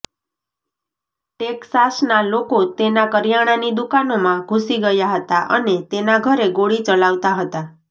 ટેક્સાસના લોકો તેના કરિયાણાની દુકાનોમાં ઘૂસી ગયા હતા અને તેના ઘરે ગોળી ચલાવતા હતા